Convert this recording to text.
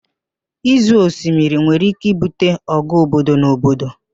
Ịzọ osimiri nwere ike ibute ọgụ obodo na obodo